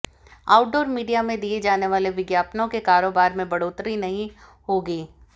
outdoor media में दिए जाने वाले विज्ञापनों के कारोबार में बढ़ोतरी नहीं होगी